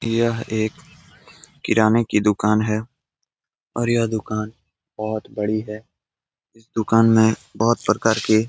यह एक किराने की दुकान हैं और यह दुकान बहोत बड़ी है। इस दुकान में बहोत प्रकार की --